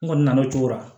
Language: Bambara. N kɔni nana o cogo la